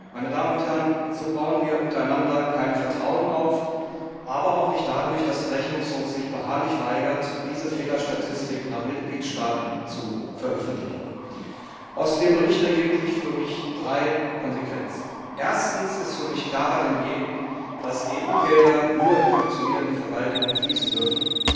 Meine Damen und Herren, so bauen wir untereinander kein Vertrauen auf, aber auch nicht dadurch, dass der Rechnungshof sich beharrlich weigert, diese Fehlerstatistik nach Mitgliedstaaten zu veröffentlichen. Aus dem Bericht ergeben sich für mich drei Konsequenzen. Erstens ist für mich klarer denn je, dass EU Gelder nur in funktionierende Verwaltungen fließen dürfen,